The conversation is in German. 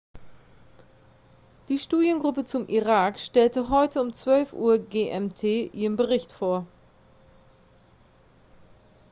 die studiengruppe zum irak stellte heute um 12:00 uhr gmt ihren bericht vor